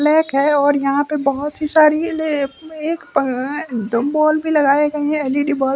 Black है और यहां पे बहुत ही सारी बल्ब भी लगाए गए है एल_ई_डी बल्ब ।